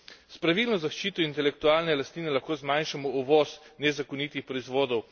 S pravilno zaščito intelektualne lastnine lahko zmanjšamo uvoz nezakonitih proizvodov.